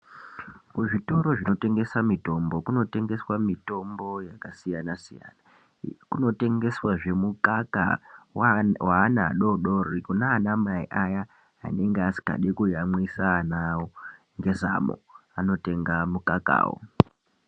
Kuzvitoro zvinotengesa mitombo kunotengeswa mitombo yakasiyana-siyana. Kunotengeswazve mukaka waana adoodori kunaanamai aya anenge asingadi kuyamwisa ana awo ngezamu, anotenga mukakawo.